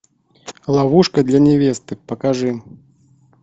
ловушка для невесты покажи